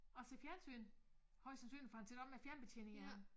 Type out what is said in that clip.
Og ser fjernsyn højst sandsynligt for han sidder også med fjernbetjeningen i hånden